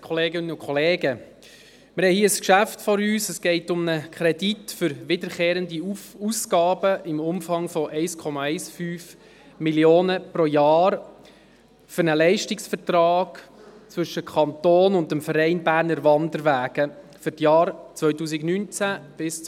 der BaK. Hier geht es um einen Kredit für wiederkehrende Ausgaben im Umfang von 1,15 Mio. Franken pro Jahr für einen Leistungsvertrag zwischen dem Kanton und dem Verein Berner Wanderwege (BWW) für die Jahre 2019–2023.